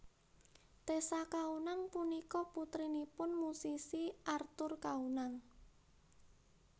Tessa Kaunang punika putrinipun musisi Arthur Kaunang